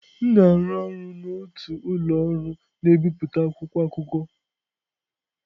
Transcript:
M na-arụ ọrụ n'otu ụlọ ọrụ na-ebipụta akwụkwọ akụkọ.